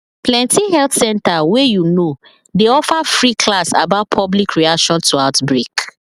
plenty health center wey you know dey offer free class about public reaction to outbreak